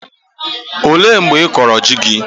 Ọ léé mgbe ịkọrọ ji gị?